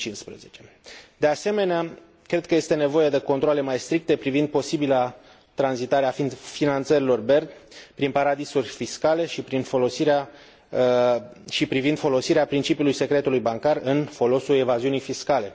2015. De asemenea, cred că este nevoie de controale mai stricte privind posibila tranzitare a finanțărilor BERD prin paradisuri fiscale și privind folosirea principiului secretului bancar în folosul evaziunii fiscale.